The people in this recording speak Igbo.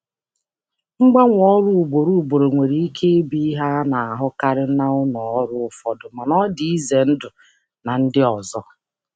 Ịgbanwe ọrụ ugboro ugboro nwere ike ịbụ ihe a na-ahụkarị n'ụfọdụ ụlọ ọrụ mana ọ dị mana ọ dị ihe egwu na ndị ọzọ.